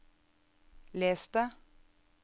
les det